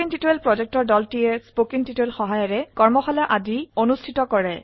কথ্য টিউটোৰিয়াল প্ৰকল্প দল কথ্য টিউটোৰিয়াল ব্যবহাৰ কৰে কৰ্মশালাৰ আয়োজন কৰে